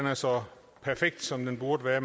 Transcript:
er så perfekt som den burde være